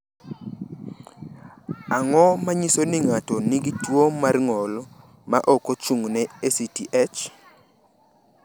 Ang’o ma nyiso ni ng’ato nigi tuwo mar ng’ol ma ok ochung’ne ACTH?